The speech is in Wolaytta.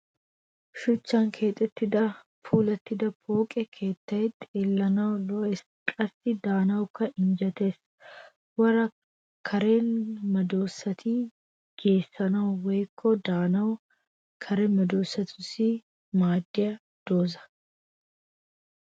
Shuchchan keexettida puulattida pooqe keettay xellanawukka lo'es qassi daanawukka injjetees. Woray kare medossati geessanawu woyikko daanawu kare medossatussi maaddiya dozza.